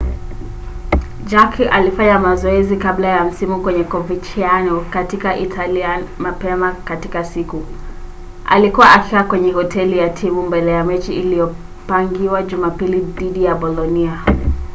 jarque alikuwa akifanya mazoezi kabla ya msimu kwenye coverciano katika italia mapema katika siku. alikuwa akikaa kwenye hoteli ya timu mbele ya mechi iliyopangiwa jumapili dhidi ya bolonia